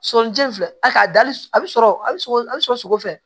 Sɔlijɛn filɛ a dali a bɛ sɔrɔ a bɛ sɔgɔ a bɛ sɔgɔsɔgɔ fɛ